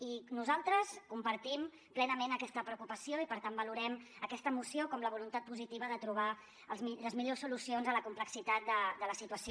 i nosaltres compartim ple nament aquesta preocupació i per tant valorem aquesta moció com la voluntat positiva de trobar les millors solucions a la complexitat de la situació